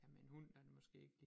Ja med en hund der er det måske ikke